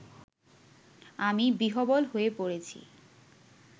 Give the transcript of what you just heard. আমি বিহ্বল হয়ে পড়েছি